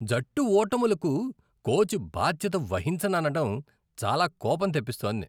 జట్టు ఓటములకు కోచ్ బాధ్యత వహించననడం చాలా కోపం తెప్పిస్తోంది.